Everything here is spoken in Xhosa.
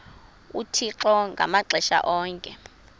uthixo ngamaxesha onke